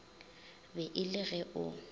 be e le ge o